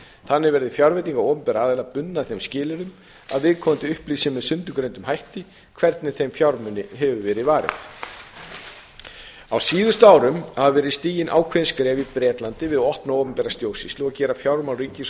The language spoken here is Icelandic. þannig verði fjárveitingar opinberra aðila bundnar þeim skilyrðum að viðkomandi upplýsi með sundurgreindum hætti hvernig þeim fjármunum hefur verið varið á síðustu árum hafa verið stigin ákveðin skref í bretlandi við að opna opinbera stjórnsýslu og gera fjármál ríkis og